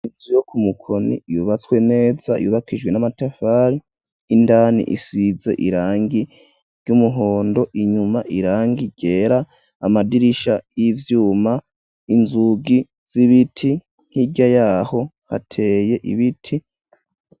Inzu yo ku Mukoni yubatswe neza, yubakijwe n'amatafari, indani isize irangi ry'umuhondo, inyuma irangi ryera, amadirisha y'ivyuma, inzugi z'ibiti, hirya yaho hateye ibiti.